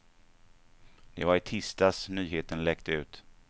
Det var i tisdags nyheten läckte ut.